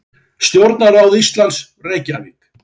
Stjórnarráð Íslands, Reykjavík.